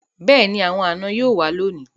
Beeni, awon ana yoo wa loni